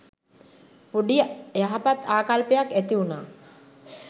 පොඩි යහපත් ආකල්පයක් ඇති වුනා.